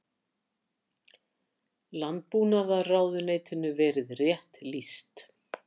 Landbúnaðarráðuneytinu verið rétt lýst.